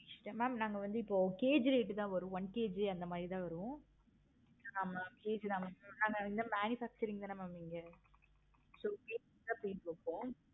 mam நாங்க வந்து இப்போ KG rate தான வரும். இந்த மாதிரி தான் வேணும். ஆஹ் okay mam இது manufacturing தான் நீங்க so KG தான் வைப்போம்.